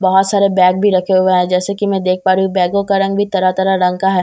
बहुत सारे बेग भी रखे हुए हैं जैसा की मैं देख प रही हूँ बेगो का रंग भी तरह तरह का है जैसा की मैं --